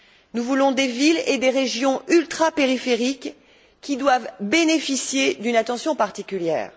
Nous voulons des villes et des régions ultrapériphériques qui doivent bénéficier d'une attention particulière.